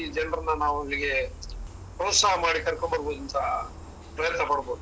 ಜನರನ್ನ ನಾವ್ ಅಲ್ಲಿಗೆ ಪ್ರೋತ್ಸಾಹ ಮಾಡಿ ಕರ್ಕೊಂಡು ಬರ್ಬೋದುಂತ ಪ್ರಯತ್ನ ಮಾಡ್ಬೋದು.